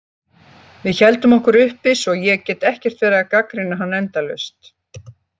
Við héldum okkur uppi svo ég get ekkert verið að gagnrýna hann endalaust.